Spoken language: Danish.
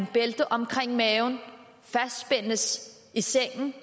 bælte omkring maven fastspændes i sengen